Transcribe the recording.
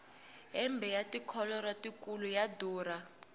hembe ya tikholoro tikulu ya durha